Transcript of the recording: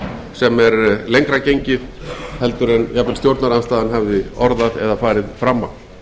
sem er lengra gengið heldur en jafnvel stjórnarandstaðan hafði orðað eða farið fram á